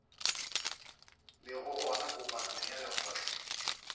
lego gona kopanong ya lekgotla